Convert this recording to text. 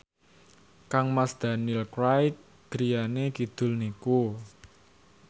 kangmas Daniel Craig griyane kidul niku